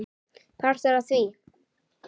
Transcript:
Partur af því?